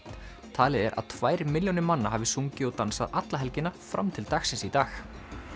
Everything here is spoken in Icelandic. talið er að tvær milljónir manna hafi sungið og dansað alla helgina fram til dagsins í dag